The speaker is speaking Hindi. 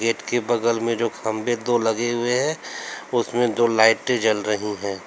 गेट के बगल में जो खंभे दो लगे हुए हैं उसमें दो लाइटें जल रही हैं।